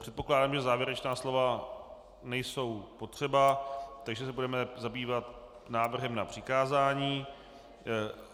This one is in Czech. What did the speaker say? Předpokládám, že závěrečná slova nejsou potřeba, takže se budeme zabývat návrhem na přikázání.